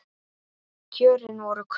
Kjörin voru kröpp.